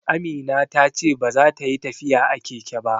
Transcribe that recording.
Amina ta ce baza ta yi tafiya a keke ba